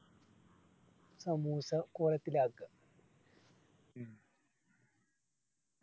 samosa കോലത്തിലാക്ക